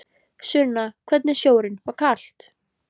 Sunna: Hvernig er sjórinn, var kalt?